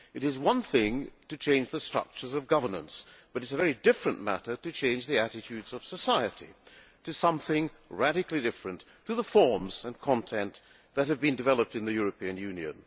It is one thing to change the structures of governance but it is a very different matter to change the attitudes of society to something radically different to the forms and content that have been developed in the European Union.